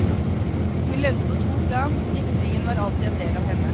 Hun levde på to plan, diktningen var alltid en del av henne.